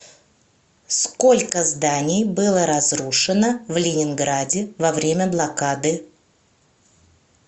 сколько зданий было разрушено в ленинграде во время блокады